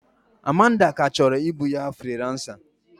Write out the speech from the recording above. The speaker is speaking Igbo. Amanda ka chọrọ ịbụ onye friiransa.